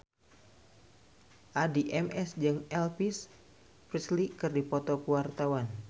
Addie MS jeung Elvis Presley keur dipoto ku wartawan